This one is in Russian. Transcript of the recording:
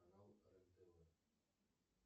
канал рен тв